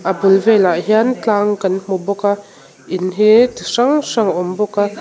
a bul velah hian tlang kan hmu bawka in hi chi hrang hrang a awm bawka--